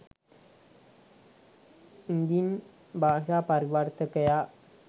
ඉදින් භාෂා පරිවර්තකයා